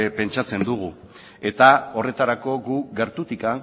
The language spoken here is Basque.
pentsatzen dugu eta horretarako guk gertutik